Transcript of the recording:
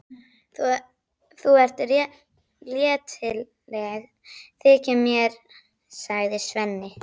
Þú ert léttgeggjuð, þykir mér, segir Svenni.